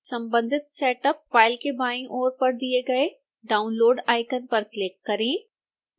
संबंधित setup file के बाईं ओर पर दिए गए download icon पर क्लिक करें